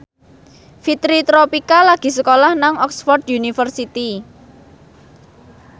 Fitri Tropika lagi sekolah nang Oxford university